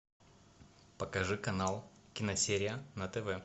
покажи канал киносерия на тв